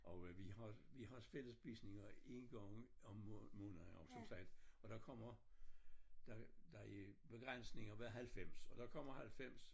Og øh vi har vi har også fællesspisninger 1 gang om måneden som sagt og der kommer der der er begrænsninger ved 90 og der kommer 90